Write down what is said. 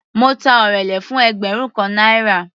Mo ta orele fún ẹgbẹrun kan náírà.